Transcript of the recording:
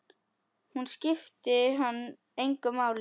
Hún skipti hann engu máli.